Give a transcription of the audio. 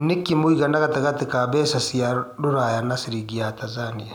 nĩ kĩ mũigana gatagatĩinĩ ka mbeca cia rũraya na ciringi ya Tanzania